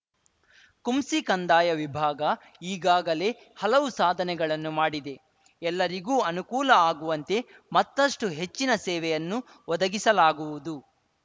ಕುಂಸಿ ಕಂದಾಯ ವಿಭಾಗ ಈಗಾಗಲೇ ಹಲವು ಸಾಧನೆಗಳನ್ನು ಮಾಡಿದೆ ಎಲ್ಲರಿಗೂ ಅನುಕೂಲ ಆಗುವಂತೆ ಮತ್ತಷ್ಟುಹೆಚ್ಚಿನ ಸೇವೆಯನ್ನು ಒದಗಿಸಲಾಗುವುದು